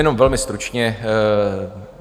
Jenom velmi stručně.